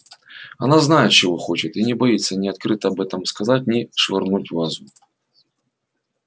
она знает чего хочет и не боится ни открыто об этом сказать ни швырнуть вазу